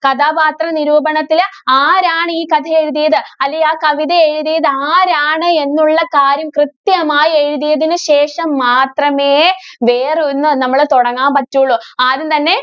കഥാപാത്രനിരൂപണത്തില് ആരാണ് ഈ കഥ എഴുതിയത്? അല്ലേ ആ കവിത എഴുതിയത് ആരാണ്? എന്നുള്ള കാര്യം കൃത്യമായി എഴുതിയതിനു ശേഷം മാത്രമേ വേറെ ഒന്ന് നമ്മള് തൊടങ്ങാന്‍ പറ്റൂള്ളൂ. ആദ്യം തന്നെ